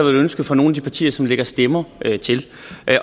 ønske fra nogle af de partiers side som lægger stemmer til